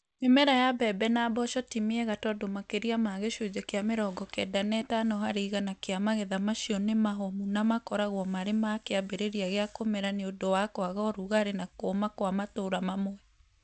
Mĩmera ya mbembe na mboco ti miega tondũ makĩria ma gĩcunjĩ kĩa mĩrongo kenda na itano harĩ igana kĩa magetha macio nĩ mahomu na makoragwo marĩ ma kĩambĩrĩria gĩa kũmera nĩ ũndũ wa kwaga ũrugarĩ na kũũma kwa matũũra mamwe.